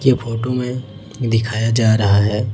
के फोटो में दिखाया जा रहा है।